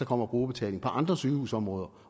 kommer brugerbetaling på andre sygehusområder